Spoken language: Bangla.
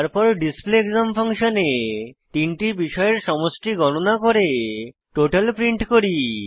তারপর display exam ফাংশনে তিনটি বিষয়ের সমষ্টি গণনা করে টোটাল প্রিন্ট করি